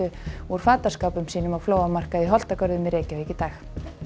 úr fataskápum sínum á flóamarkaði í Holtagörðum í Reykjavík í dag